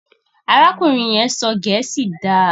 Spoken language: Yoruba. arákùnrin yén sọ gèésì dá.